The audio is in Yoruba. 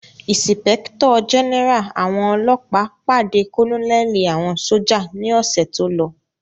Ìsìpẹ́kítọ̀ jẹ́nẹ́rà àwọn ọlọ́ọ̀pá pàdé kọ́nẹ̀lì àwọn sójà ní ọ̀sẹ̀ tólọ